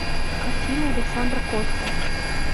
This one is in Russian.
картина александра котта